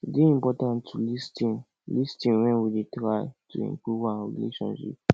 e dey important to lis ten lis ten wen we dey try to improve our relationships